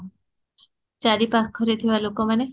ଚାରି ପାଖରେ ଥିବା ଲୋକ ମାନେ?